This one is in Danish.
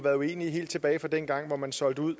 været uenige helt tilbage fra dengang hvor man solgte ud